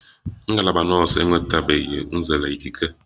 Ngalaba nọọsu enwetabeghi nzere ikike